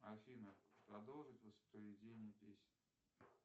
афина продолжить воспроизведение песни